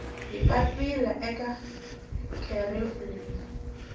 hi papila eka kherefu leyi